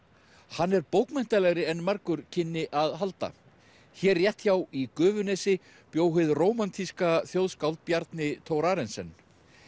hann er bókmenntalegri en margur kynni að halda hér rétt hjá í Gufunesi bjó hið rómantíska þjóðskáld Bjarni Thorarensen